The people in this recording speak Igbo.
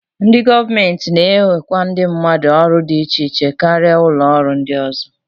Ndị gọọmenti na-ewekwa ndị mmadụ n'ọrụ dị iche iche karịa ụlọọrụ ndị ọzọ